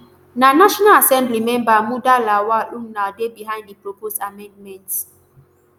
na national assembly member muda lawal ulnar dey behind di proposed amendment